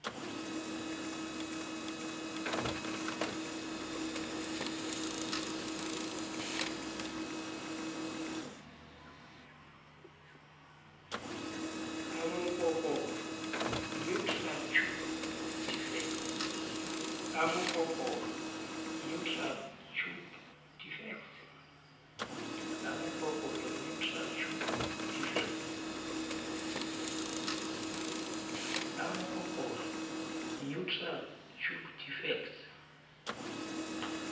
a mokokotlo neural tube defects